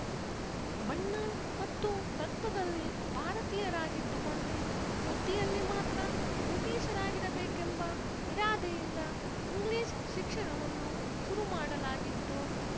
ಬಣ್ಣ ಮತ್ತು ರಕ್ತದಲ್ಲಿ ಭಾರತೀಯರಾಗಿದ್ದುಕೊಂಡೇ ಬುದ್ಧಿಯಲ್ಲಿ ಮಾತ್ರ ಬ್ರಿಟೀಷರಾಗಿರಬೇಕೆಂಬ ಇರಾದೆಯಿಂದ ಇಂಗ್ಲೀಷ್ ಶಿಕ್ಷಣವನ್ನು ಶುರು ಮಾಡಲಾಗಿತ್ತು